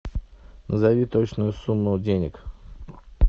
назови точную сумму денег